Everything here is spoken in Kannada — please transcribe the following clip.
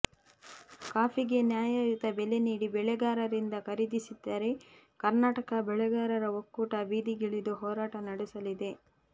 ಕಾಫಿಗೆ ನ್ಯಾಯಯುತ ಬೆಲೆ ನೀಡಿ ಬೆಳೆಗಾರರಿಂದ ಖರೀದಿಸದಿದ್ದರೆ ಕರ್ನಾಟಕ ಬೆಳೆಗಾರರ ಒಕ್ಕೂಟ ಬೀದಿಗಿಳಿದು ಹೋರಾಟ ನಡೆಸಲಿದೆ